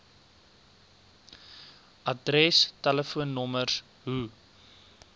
adres telefoonnommers hoe